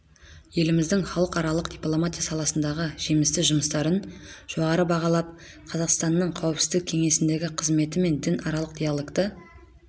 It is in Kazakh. еліміздің халықаралық дипломатия саласындағы жемісті жұмыстарын жоғары бағалап қазақстанның қауіпсіздік кеңесіндегі қызметі мен дінаралық диалогты